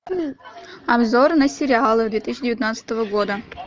обзор на сериалы две тысячи девятнадцатого года